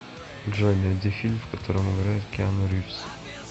джой найди фильм в котором играет киану ривз